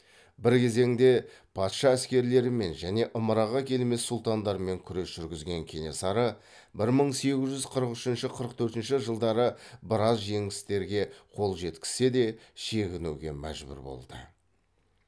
бір кезеңде патша әскерлерімен және ымыраға келмес сұлтандармен күрес жүргізген кенесары бір мың сегіз жүз қырық үшінші қырық төртінші жылдары біраз жеңістерге қол жеткізсе де шегінуге мәжбүр болды